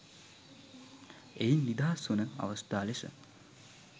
එයින් නිදහස් වන අවස්ථා ලෙස